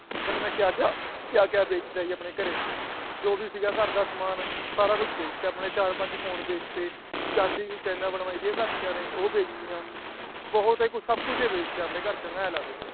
ਪਤਾ ਨੀ ਮਈ ਕਯਾ ਕਯਾ ਅਹ ਕਯਾ ਕਯਾ ਬੇਛਤਾ ਜੀ ਆਪਣੇ ਘਰੇ ਜੋ ਭੀ ਸੀਗਾ ਘਰ ਦਾ ਸਮਾਣ ਸਾਰਾ ਕੁਛ ਬੇਛਤਾ ਚਾਰ ਪੰਜ ਫੋਨ ਬੇਚਤੇ ਚਾਂਦੀ ਦੀ ਚਾਈਨਾ ਬਣਵਾਈ ਸੀ ਘਰ ਦਿਆਂ ਨੇ ਉਹ ਬੇਚਤੀਆਂ ਬਹੁਤ ਹੀ ਕੁਛ ਸਬ ਕੁਛ ਹੀ ਬੇਛਤਾ ਘਰੋਂ ਮੈਂ ਕਿਹਾ ਆ ਲਾਇਲੋ